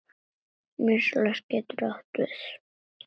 Vinstri getur átt við